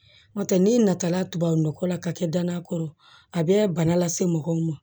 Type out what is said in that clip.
N'o tɛ n'i nata la tubabu nɔgɔ la ka kɛ dannan kɔrɔ a bɛ bana lase mɔgɔw ma